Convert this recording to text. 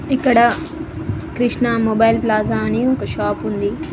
ఇక్కడ Krishna mobile plaza అని ఒక షాపు ఉంది.